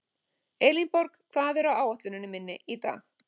Elínborg, hvað er á áætluninni minni í dag?